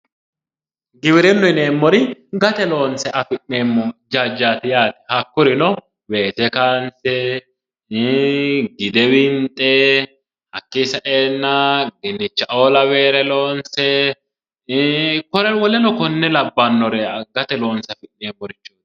Giwirinna yineemmori ,gate loonse afi'neemmo jajjati yaate, hakkurino weese kayinse, gidde winxe, hakki saenna dinichao lawinore loonse woleno kone lawanore gate loonse afi'neemmore.